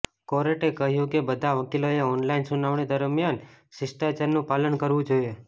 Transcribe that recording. કોર્ટે કહ્યુ કે બધા વકીલોએ ઑનલાઈન સુનાવણી દરમિયાન શિષ્ટાચારનુ પાલન કરવુ જોઈએ